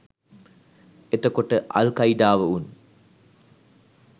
එතකොට අල් කයිඩාව උන්